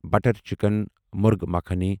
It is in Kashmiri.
بٹر چِکن مرغ مکھانی